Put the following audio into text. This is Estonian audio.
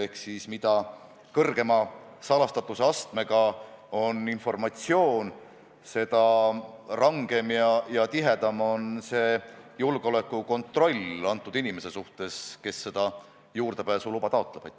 Ehk siis mida kõrgema salastatuse astmega on informatsioon, seda rangem ja tihedam on julgeolekukontroll selle inimese suhtes, kes juurdepääsuluba taotleb.